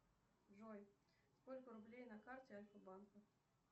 джой сколько рублей на карте альфа банка